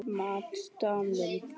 Matt Damon.